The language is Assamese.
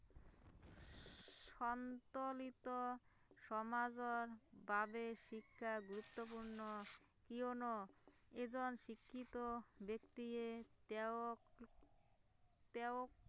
সন্তুলিত সমাজৰ বাবে শিক্ষা গুৰুত্বপূৰ্ণ কিয়নো এজন শিক্ষিত ব্যক্তিয়ে তেওঁক, তেওঁত